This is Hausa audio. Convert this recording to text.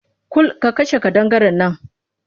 Kul! ka kashe ƙadangaren nan!